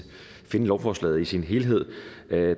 finde lovforslaget i sin helhed